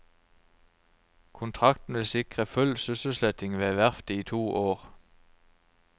Kontrakten vil sikre full sysselsetting ved verftet i to år.